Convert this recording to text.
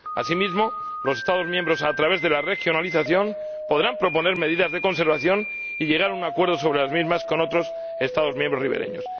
Asimismo, los Estados miembros, a través de la regionalización, podrán proponer medidas de conservación y llegar a un acuerdo sobre las mismas con otros Estados miembros ribereños.